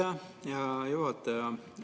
Aitäh, hea juhataja!